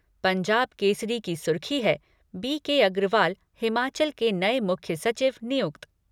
पंजाब केसरी की सुर्खी है बी के अग्रवाल हिमाचल के नए मुख्य सचिव नियुक्त।